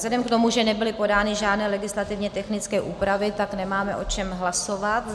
Vzhledem k tomu, že nebyly podány žádné legislativně technické úpravy, tak nemáme o čem hlasovat.